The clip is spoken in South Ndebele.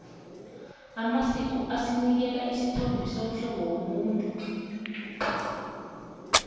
amasiko asinikela isithombe somhlobo womuntu